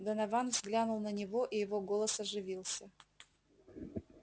донован взглянул на него и его голос оживился